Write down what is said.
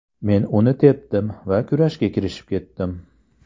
Men uni tepdim va kurashga kirishib ketdim.